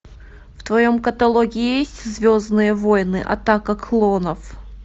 в твоем каталоге есть звездные войны атака клонов